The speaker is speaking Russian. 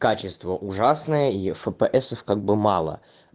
качество ужасное ефпсов как бы мало